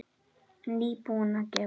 Nýbúin að gefa.